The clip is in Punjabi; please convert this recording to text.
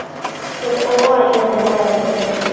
ਫਿਰ ਉਹ ਆਈ ਉਹਦੇ ਨਾਲ ਛੱਡਣ।